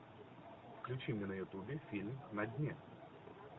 включи мне на ютубе фильм на дне